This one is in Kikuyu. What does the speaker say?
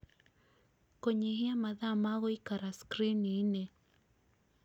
Kũnyihia mathaa ma gũikara skrini-inĩ